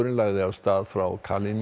lagði af stað frá